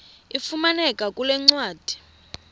ifumaneka kule ncwadi